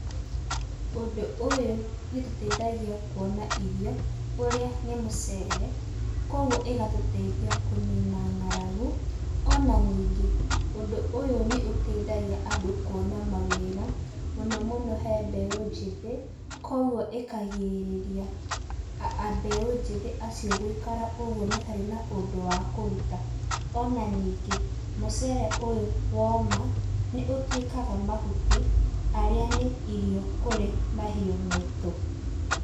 Ũndũ ũyũ nĩ ũtũteithagia kuona irio, ũrĩa nĩ mũcere, koguo ĩgatũteithia kũnina ng'aragu. Ona ningĩ, ũndũ ũyũ nĩ ũteithagia andũ kũona mawĩra, mũno muno he mbeũ njĩthĩ, koguo ĩkarigĩrĩria, mbeũ njĩthĩ acio gũikara ũguo matarĩ na ũndũ wa kũruta. Ona ningĩ, mũcere ũyũ woma, nĩ ũtuĩkaga mahuti, harĩa nĩ irio kũrĩ mahiũ maitũ.